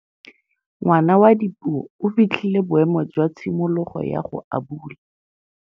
Ngwana wa Dipuo o fitlhile boêmô jwa tshimologô ya go abula.